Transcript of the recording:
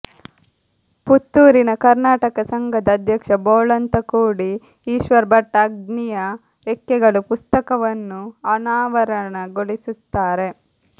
ಪುತ್ತೂರಿನ ಕರ್ನಾಟಕ ಸಂಘದ ಅಧ್ಯಕ್ಷ ಬೋಳಂತಕೋಡಿ ಈಶ್ವರ್ ಭಟ್ ಅಗ್ನಿಯ ರೆಕ್ಕೆಗಳು ಪುಸ್ತಕವನ್ನು ಅನಾವರಣಗೊಳಿಸುತ್ತಾರೆ